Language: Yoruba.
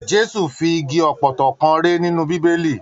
Jésù fi igi ọpọtọ kàn rè nínú bíbélì.